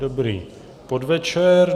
Dobrý podvečer.